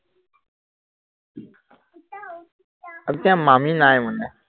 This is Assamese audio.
এতিয়া মামী নাই মানে